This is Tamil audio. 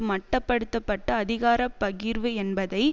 மட்டப்படுத்த பட்ட அதிகார பகிர்வு என்பதை